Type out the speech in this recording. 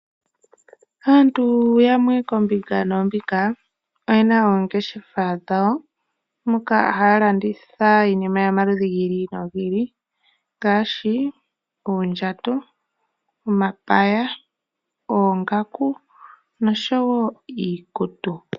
Aantu yamwe koombinga noombinga, oyena oongeshefa dhawo moka haa landitha iinima yomaludhi gi ili no gi ili. Ngaashi oondjato, omapaya , oongaku nosho woo iikutu.